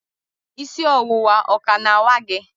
isi ọwụwa o ka na-awa gị?